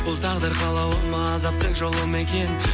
бұл тағдыр қалауы ма азаптың жолы ма екен